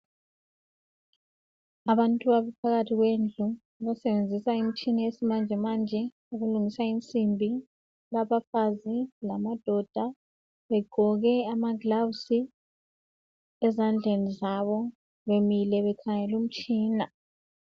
Abantu abaphakathi kwendlu abasebenzisa imitshina yesimanje manje ukulungisa insimbi. Kulabafazi lamadoda begqoke ama (gloves) ezandleni zabo , bemile bekhangele umtshina.